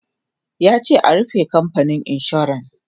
yace a "rufe kamfanin insuran!"